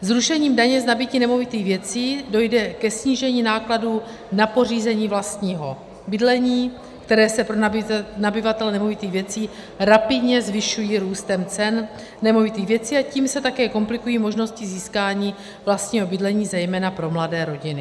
Zrušením daně z nabytí nemovitých věcí dojde ke snížení nákladů na pořízení vlastního bydlení, které se pro nabyvatele nemovitých věcí rapidně zvyšují růstem cen nemovitých věcí, a tím se také komplikují možnosti získání vlastního bydlení, zejména pro mladé rodiny.